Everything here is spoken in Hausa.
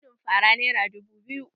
Mudun fara nera dubu biyu